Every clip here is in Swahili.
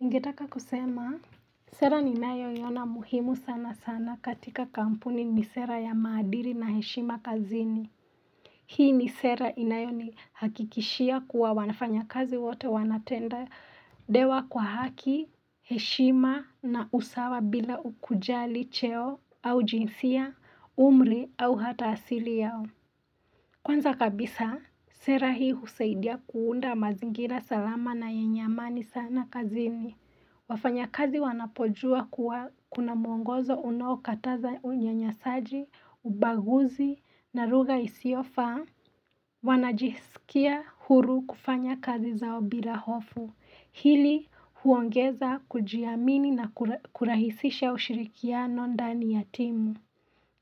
Ningetaka kusema sera ninayoiona muhimu sana sana katika kampuni ni sera ya maadili na heshima kazini hii ni sera inayonihakikishia kuwa wanafanya kazi wote wanatendewa kwa haki heshima na usawa bila kujali cheo au jinsia umri au hata asili yao Kwanza kabisa sera hii husaidia kuunda mazingira salama na yenye amani sana kazini wafanyakazi wanapojua kuwa kuna muongozo unaokataza unyanyasaji, ubaguzi, na lugha isiofaa Wanajisikia huru kufanya kazi zao bila hofu, hili huongeza kujiamini na kurahisisha ushirikiano ndani ya timu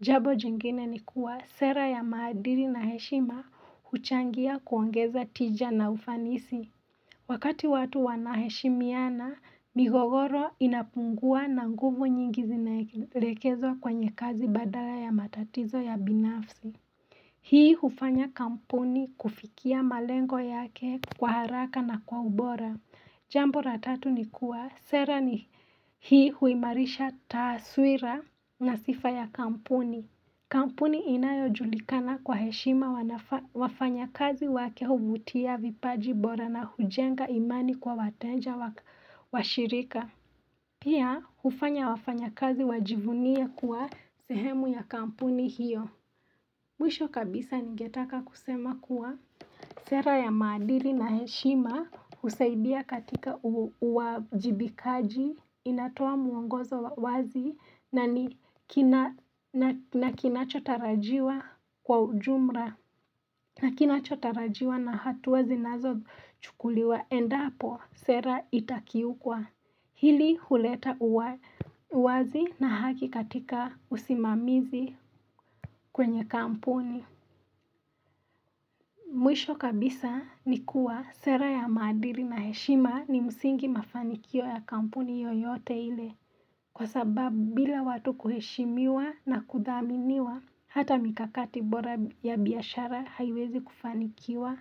Jambo jingine ni kuwa sera ya maadili na heshima huchangia kuongeza tija na ufanisi Wakati watu wanaheshimiana migogoro inapungua na nguvu nyingi zinaelekezwa kwenye kazi badala ya matatizo ya binafsi Hii hufanya kampuni kufikia malengo yake kwa haraka na kwa ubora Jambo la tatu nikua sera ni hii huimarisha taaswira na sifa ya kampuni. Kampuni inayojulikana kwa heshima wafanyakazi wake huvutia vipaji bora na hujenga imani kwa watenja wa shirika. Pia hufanya wafanyakazi wajivunie kuwa sehemu ya kampuni hiyo. Mwisho kabisa ningetaka kusema kuwa sera ya maadili na heshima husaidia katika uajibikaji inatoa muongozo wazi na ni na kinachotarajiwa kwa ujumla na kinachotarajiwa na hatua zinazochukuliwa endapo sera itakiukwa hili huleta uwazi na haki katika usimamizi kwenye kampuni. Mwisho kabisa ni kuwa sera ya maadili na heshima ni msingi mafanikio ya kampuni yoyote ile kwa sababu bila watu kuheshimiwa na kudhaminiwa hata mikakati bora ya biashara haiwezi kufanikiwa.